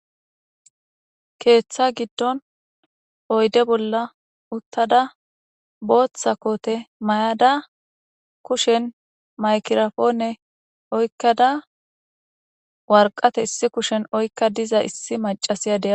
Keeththa giddon oyde bolla uttada booththa kote mayada kushen maykirafoone oykkada warqate issi kushen oykka diza issi macasiyadea